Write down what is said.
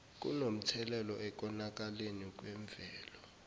kunomthelela ekonakaleni kwemvelo